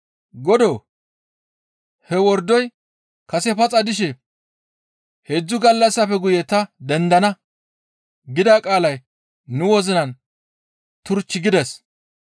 «Godoo! He wordoy kase paxa dishe, ‹Heedzdzu gallassafe guye ta dendana› gida qaalay nu wozinan turchchu gides.